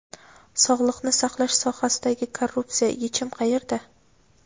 Sog‘liqni saqlash sohasidagi korrupsiya: yechim qayerda?.